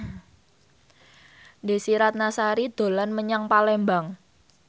Desy Ratnasari dolan menyang Palembang